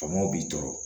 Faamɔw b'i tɔɔrɔ